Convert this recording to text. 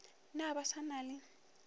na ba sa na le